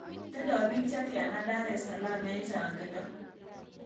Tindo biik chetiana dar es salaam eng' chaang'indo